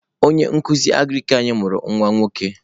Onye nkuzi Agrik anyi mụrụ nwa nwoke.